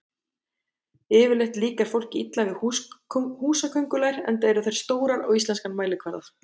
Yfirleitt líkar fólki illa við húsaköngulær enda eru þær stórar á íslenskan mælikvarða.